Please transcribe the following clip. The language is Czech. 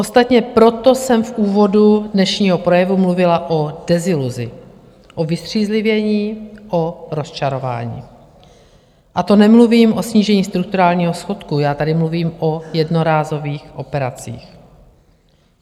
Ostatně proto jsem v úvodu dnešního projevu mluvila o deziluzi, o vystřízlivění, o rozčarování, a to nemluvím o snížení strukturálního schodku, já tady mluvím o jednorázových operacích.